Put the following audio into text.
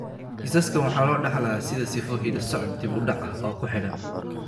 Kiisaskan waxa loo dhaxlayaa sidii sifo hidde-socod dib u dhac ah oo ku xidhan.